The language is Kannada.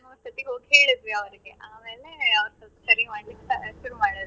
ಹೋಗಿ ಹೇಳಿದ್ವಿ ಆಮೇಲೆ ಅವರು ಸ್ವಲ್ಪ ಸರಿ ಮಾಡ್ಲಿಕ್ಕೆ ಶುರು ಮಾಡಿದ್ರು.